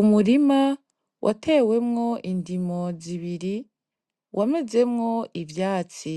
Umurima watewemwo indimo zibiri wamezemwo ivyatsi,